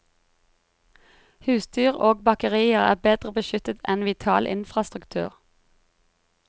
Husdyr og bakerier er bedre beskyttet enn vital infrastruktur.